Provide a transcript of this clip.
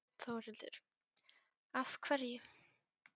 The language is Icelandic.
Þórhildur: Af hverju?